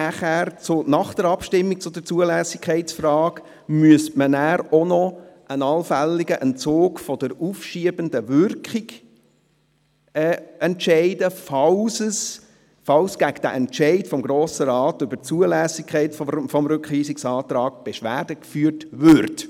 Deshalb müsste man nach der Abstimmung zur Zulässigkeitsfrage auch noch über einen allfälligen Entzug der aufschiebenden Wirkung entscheiden, falls gegen den Entscheid des Grossen Rates über die Zulässigkeit des Rückweisungsantrags Beschwerde geführt würde.